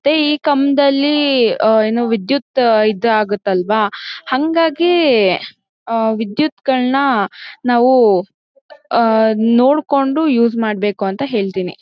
ತ್ತೆ ಈ ಕಂಬದಲ್ಲಿ ಆ ಏನು ವಿದ್ಯುತ್ ಇದ್ ಆಗತ್ತಲ್ವಾ ಹಾಂಗಾಗೀ ಆ ವಿದುತ್ಗಳ್ನ ನಾವು ಆ ನೋಡ್ಕೊಂಡು ಯೂಸ್ ಮಾಡ್ಬೇಕು ಅಂತ ಹೇಳ್ತಿನಿ.